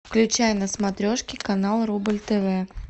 включай на смотрешке канал рубль тв